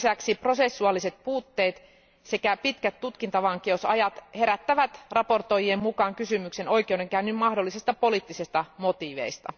Lisäksi prosessuaaliset puutteet sekä pitkät tutkintavankeusajat herättävät raportoijien mukaan kysymyksen oikeudenkäynnin mahdollisista poliittisista motiiveista.